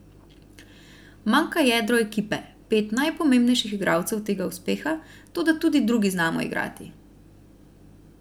Manjka jedro ekipe, pet najpomembnejših igralcev tega uspeha, toda tudi drugi znamo igrati.